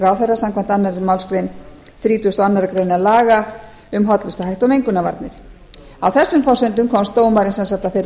ráðherra samkvæmt annarri málsgrein þrítugustu og aðra grein laga um hollustuhætti og mengunarvarnir á þessum forsendum komst dómarinn sem sagt að þeirri